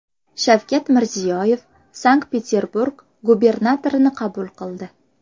Shavkat Mirziyoyev Sankt-Peterburg gubernatorini qabul qildi.